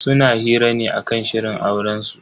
Suna hira ne akan shirin aurensu.